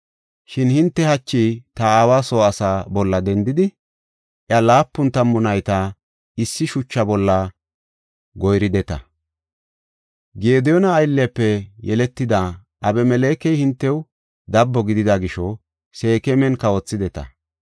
Shin hinte hachi ta aawa soo asaa bolla dendidi, iya laapun tammu nayta issi shucha bolla goyrideta. Gediyoona ayllefe yeletida Abimelekey hintew dabbo gidida gisho Seekeman kawothideta.